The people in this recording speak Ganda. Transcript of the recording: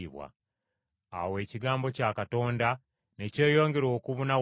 Awo ekigambo kya Katonda ne kyeyongera okubuna wonna.